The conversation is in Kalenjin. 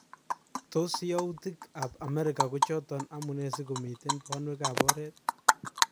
Tos youtik kap America ko choton amune si komiten banweekap oret?